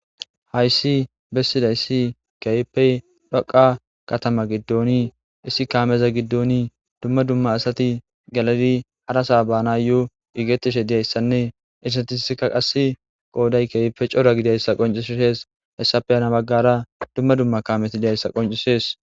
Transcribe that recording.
Hayssi bessida issi keypey dhoqa katama giddooni issi kaameza giddooni dumma dumma asati galadi harasa baana yoo igetishe diyayssanne istatisika qas qooday keype cora gidayssa qoncisshees hessape yana baggara dumma dumma kaamesi diyayssa qoncisees.